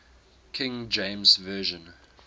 king james version